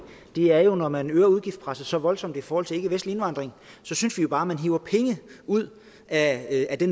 er jo når man øger udgiftspresset så voldsomt i forhold til ikkevestlig indvandring så synes vi jo bare at man hiver penge ud af det